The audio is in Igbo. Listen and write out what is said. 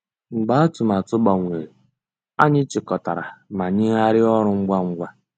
Mgbeé àtụ̀màtụ́ gbànwèrè, ànyị́ chị́kọ̀tàrà má nyéghàríá ọ́rụ́ ngwá ngwá.